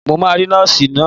Mo máa rí Nọ́ọ̀sì náà.